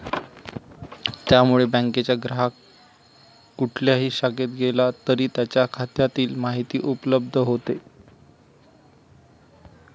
त्यामुळे बँकेच्या ग्राहक कुठल्याही शाखेत गेला तरी त्यांच्या खात्यातील माहिती उपलब्ध होते.